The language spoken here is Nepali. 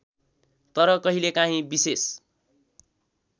तर कहिलेकाँही विशेष